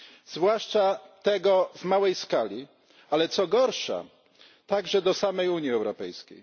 zwłaszcza tego w małej skali, ale co gorsza, także do samej Unii Europejskiej.